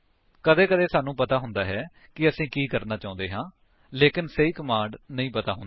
ਕਦੇ ਕਦੇ ਸਾਨੂੰ ਪਤਾ ਹੁੰਦਾ ਹੈ ਕਿ ਅਸੀ ਕਿ ਕਰਨਾ ਚਾਹੁੰਦੇ ਹਾਂ ਲੇਕਿਨ ਸਹੀ ਕਮਾਂਡ ਨਹੀਂ ਪਤਾ ਹੁੰਦੀ